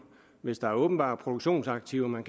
hvis der var åbenbare produktionsaktiver man